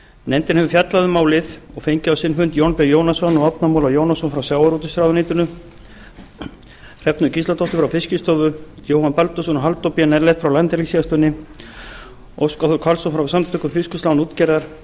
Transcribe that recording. nefndin hefur fjallað um málið og fengið á sinn fund jón b jónasson og árna múla jónasson frá sjávarútvegsráðuneytinu hrefnu gísladóttur frá fiskistofu jóhann baldursson og halldór b nellet frá landhelgisgæslunni óskar þór karlsson frá samtökum fiskvinnslu án útgerðar